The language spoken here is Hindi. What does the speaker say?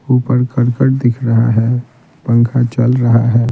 ऊपर करकट दिख रहा है पंखा चल रहा है।